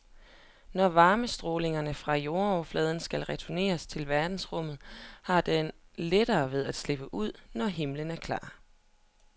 Når varmestrålingen fra jordoverfladen skal retur til verdensrummet, har den lettere ved at slippe ud, når himlen er klar.